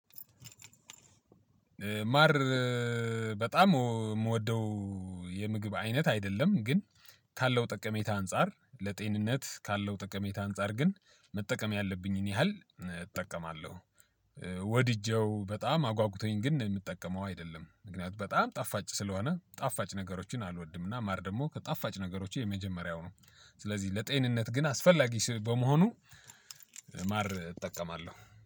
ማር በጣም የምወደው የምግብ አይነት አይደለም ግን ካለው ጠቀሜታ አንፃር ለጤንነት ካለው ጠቀሜታ አንፃር ግን መጠቀም ያለብኝን ያህል እጠቀማለሁ። ወድጄው በጣም አጓጉቶኝ ግን የምጠቀመው አይደለም ምክንያቱም በጣም ጣፋጭ ስለሆነ ጣፋጭ ነገሮችን አልወድም እና ማር ደግሞ ከጣፋጭ ነገሮች የመጀመሪያው ነው። ስለዚህ ለጤንነት ግን አስፈላጊ በመሆኑ ማር እጠቀማለሁ